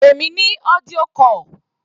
Pè mí ní audio call.